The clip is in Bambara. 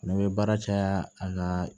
Ne bɛ baara caya a ka